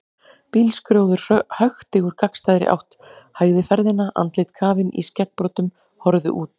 Bílskrjóður hökti úr gagnstæðri átt, hægði ferðina, andlit kafin í skeggbroddum horfðu út.